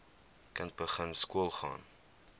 kind begin skoolgaan